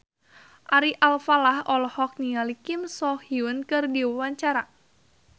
Ari Alfalah olohok ningali Kim So Hyun keur diwawancara